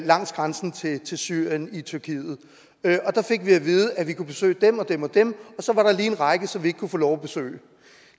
langs grænsen til til syrien i tyrkiet der fik vi at vide at vi kunne besøge dem og dem og dem og så var der lige en række som vi ikke kunne få lov til at besøge